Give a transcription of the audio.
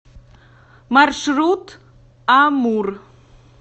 маршрут амурр